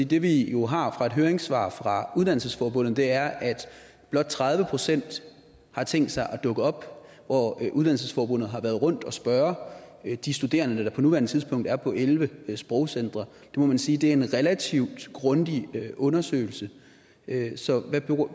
det vi jo har fra et høringssvar fra uddannelsesforbundet er at blot tredive procent har tænkt sig at dukke op hvor uddannelsesforbundet har været rundt og spørge de studerende der på nuværende tidspunkt er på elleve sprogcentre det må man sige er en relativt grundig undersøgelse så hvad